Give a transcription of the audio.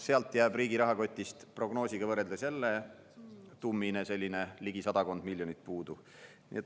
Sealt jääb riigi rahakotist prognoosiga võrreldes jälle tummine selline ligi sadakond miljonit puudu.